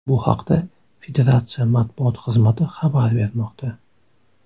Bu haqda federatsiya matbuot xizmati xabar bermoqda.